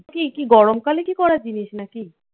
কি কি গরমকালে কি করার জিনিস নাকি?